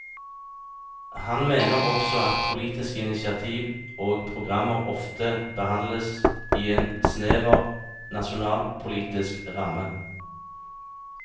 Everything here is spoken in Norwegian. Han mener også at politiske initiativ og programmer ofte behandles i en snever nasjonalpolitisk ramme.